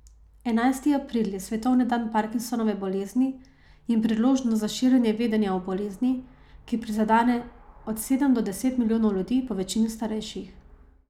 Enajsti april je svetovni dan parkinsonove bolezni in priložnost za širjenje vedenja o bolezni, ki prizadene od sedem do deset milijonov ljudi, povečini starejših.